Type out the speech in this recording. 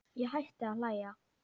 Ég hætti að hlæja.